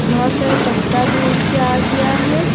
बहोत सारा पत्ता भी उड़ के आ गया है।